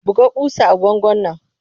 Buga ƙusa a bangon nan!